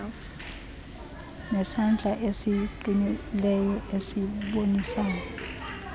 nesandla esiqinileyo esibonisayo